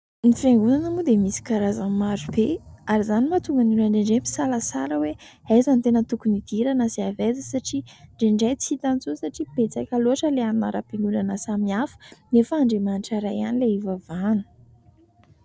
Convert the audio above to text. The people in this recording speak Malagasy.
Ny fiangonana moa dia misy karazany maro be ary izany no mahatonga ny olona indraindray misalasala hoe aiza no tena tokony hidirana sy avy aiza satria indraindray tsy hitany intsony satria betsaka loatra ilay anaram-piangonana samihafa nefa Andriamanitra iray ihany ilay hivavahana.